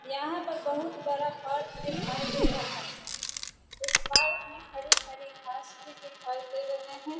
यहाँ पर बहुत बड़ा पार्क दिखाई दे रहा है इस पार्क मैं हरी हरी घास भी दिखाई दे रहे हैं ।